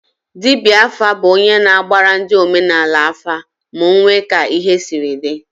Dibịa afa bụ onye na-agbara ndị omenaala afa ma ọ nwee ka ihe siri dị